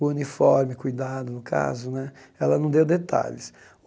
O uniforme, cuidado no caso né, ela não deu detalhes.